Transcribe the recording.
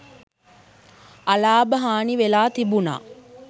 අලාභ හානි වෙලා තිබුණා.